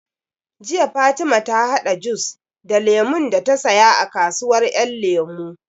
Jiya Fatima ta haɗa jus da Lemun da ta saya daga kasuwar Ƴan Lemu